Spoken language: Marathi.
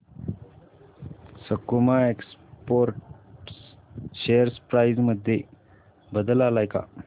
सकुमा एक्सपोर्ट्स शेअर प्राइस मध्ये बदल आलाय का